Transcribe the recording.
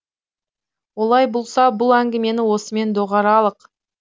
олай болса бұл әңгімені осымен доғаралық